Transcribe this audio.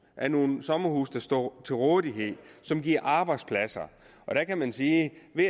er nogle sommerhuse der står til rådighed og som giver arbejdspladser og der kan man sige